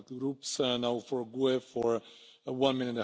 Herr Präsident!